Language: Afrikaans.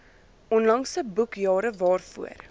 onlangse boekjare waarvoor